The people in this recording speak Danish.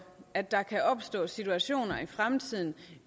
at der kan opstå situationer i fremtiden